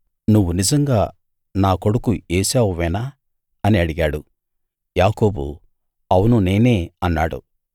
నువ్వు నిజంగా నా కొడుకు ఏశావువేనా అని అడిగాడు యాకోబు అవును నేనే అన్నాడు